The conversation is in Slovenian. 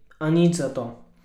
A nič zato.